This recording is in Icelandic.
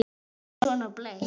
Hann var með svona blett.